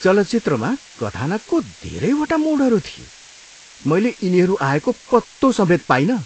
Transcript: चलचित्रमा कथानकको धेरैवटा मोडहरू थिए! मैले यिनीहरू आएको पत्तो समेत पाइनँ।